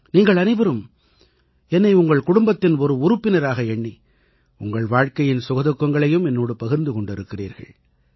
நீங்கள் அனைவரும் என்னை உங்கள் குடும்பத்தின் ஒரு உறுப்பினராக எண்ணி உங்கள் வாழ்க்கையின் சுகதுக்கங்களையும் என்னோடு பகிர்ந்து கொண்டிருக்கிறீர்கள்